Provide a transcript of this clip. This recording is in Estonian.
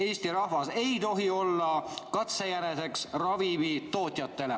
Eesti rahvas ei tohi olla katsejäneseks ravimitootjatele.